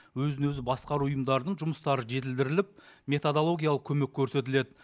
өзін өзі басқару ұйымдарының жұмыстары жетілдіріліп методологиялық көмек көрсетіледі